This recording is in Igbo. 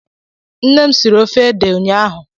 Nnem siri ofe ede ụnyaahụ.